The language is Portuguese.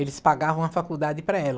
Eles pagavam a faculdade para ela.